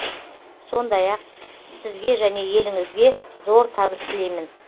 сондай ақ сізге және еліңізге зор табыс тілеймін